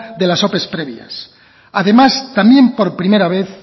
de las ope previas además también por primera vez